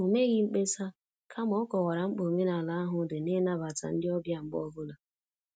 O meghị mkpesa, kama ọ kọwara mkpa omenala ahụ dị n' ịnabata ndị ọbịa mgbe ọ bụla